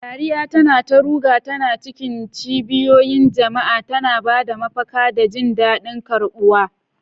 Dariya tana ta ruga ta cikin cibiyoyin jama'a, tana ba da mafaka da jin daɗin karɓuwa.